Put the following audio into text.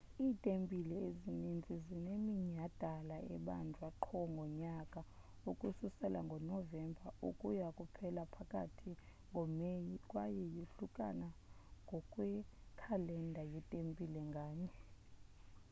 iitempile ezininzi zineminyhadala ebanjwa qho ngonyaka ukususela ngonovemba ukuya kuphela phakathi ngomeyi kwaye yohlukana ngokwekhalenda yetempile nganye